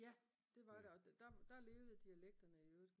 Ja! Det var det og der levede dialekterne i øvrigt